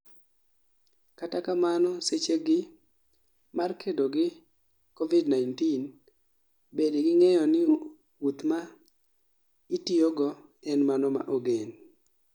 kata kamano seche gi mar kedo gi COVID-19, bed gi ng'eyo ni wuoth ma itiyo go en mano ma ogen